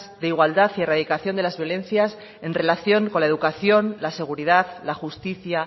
de igualdad y de erradicación de las violencias en relación con la educación la seguridad la justicia